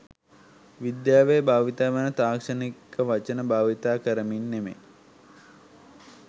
විද්‍යාවේ භාවිත වන තාක්ෂණික වචන භාවිත කරමින් නෙමෙයි.